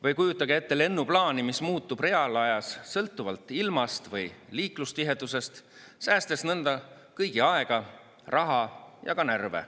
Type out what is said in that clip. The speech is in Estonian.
Või kujutage ette lennuplaani, mis muutub reaalajas sõltuvalt ilmast või liiklustihedusest, säästes nõnda kõigi aega, raha ja ka närve.